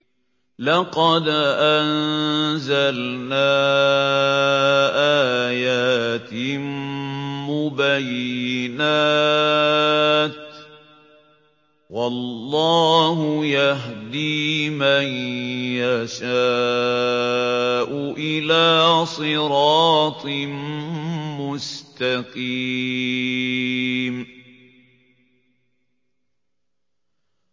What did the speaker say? لَّقَدْ أَنزَلْنَا آيَاتٍ مُّبَيِّنَاتٍ ۚ وَاللَّهُ يَهْدِي مَن يَشَاءُ إِلَىٰ صِرَاطٍ مُّسْتَقِيمٍ